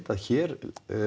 að hér